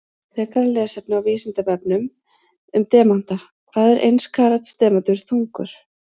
Frekara lesefni á Vísindavefnum um demanta: Hvað er eins karats demantur þungur?